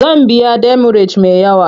Zan biya demurej me yawa.